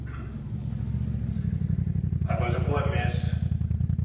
Arvoisa puhemies, äänestin tämän mietinnön puolesta.